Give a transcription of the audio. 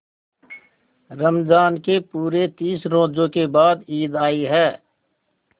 रमज़ान के पूरे तीस रोजों के बाद ईद आई है